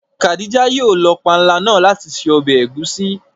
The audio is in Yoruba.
Khádíjà yóò lọ pànla náà lati ṣẹ̀ ọbẹ̀ ègúsì.